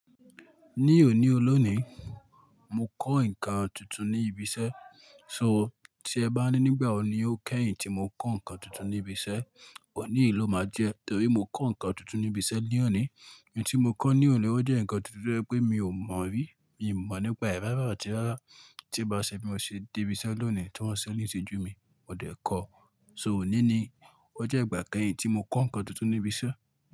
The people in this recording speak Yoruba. Ní òní olóní, mo kọ́ nǹkan tuntun ní ibi iṣẹ́. So tí ẹ bá ní nígbà wo ni ó kẹ́yìn tí mo kọ́ nǹkan tuntun ní ibi iṣẹ́, ọ̀ní ló máa jẹ́ torí mo kọ́ nǹkan tuntun ní ibi iṣẹ́ ní òní. N tí mo kọ́ ní òní ọ jẹ́ nǹkan tuntun to ye pé mi ò mọ̀ rí, mi ò mọ̀ nípe rárá àti rárá tí ba ṣe bí mo ṣe dé ibi iṣẹ́ lónìí tí wọ́n ṣe ní ìṣẹ́jú mi, mo dẹ̀ kọ́. So òní ni ọjọ́ ìgbà kẹ́yìn tí mo kọ́ nǹkan tuntun ní ibi iṣẹ́.